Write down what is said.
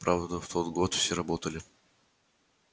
правда в тот год все работали